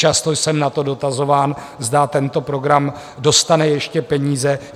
Často jsem na to dotazován, zda tento program dostane ještě peníze.